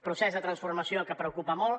procés de transformació que preocupa molt